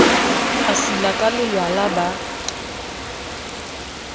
e sila ka lelwala ba